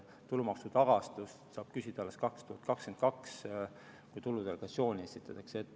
Tulumaksu tagastust saab küsida alles 2022. aastal, kui tuludeklaratsioon esitatakse.